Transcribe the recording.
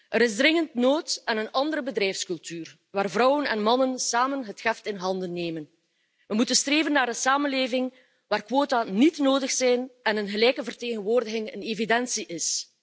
Er is dringend nood aan een andere bedrijfscultuur, waar vrouwen en mannen samen het heft in handen nemen. We moeten streven naar een samenleving waar quota niet nodig zijn en een gelijke vertegenwoordiging een evidentie is.